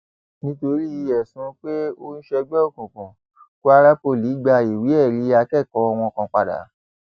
nítorí ẹsùn pé ó ń ṣègbè òkùnkùn kwara poli gba ìwéẹrí akẹkọọ wọn kan padà